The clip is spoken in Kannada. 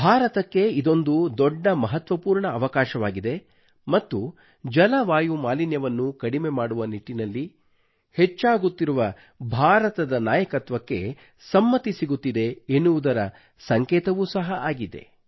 ಭಾರತಕ್ಕೆ ಇದೊಂದು ದೊಡ್ಡ ಮಹತ್ವಪೂರ್ಣ ಅವಕಾಶವಾಗಿದೆ ಮತ್ತು ಜಲವಾಯು ಮಾಲಿನ್ಯವನ್ನು ಕಡಿಮೆ ಮಾಡುವ ನಿಟ್ಟಿನಲ್ಲಿ ಭಾರತಕ್ಕೆ ಹೆಚ್ಚಾಗುತ್ತಿರುವ ನಾಯಕತ್ವಕ್ಕೆ ಸಮ್ಮತಿ ಸಿಗುತ್ತಿದೆ ಎನ್ನುವುದರ ಸಂಕೇತವೂ ಸಹ ಆಗಿದೆ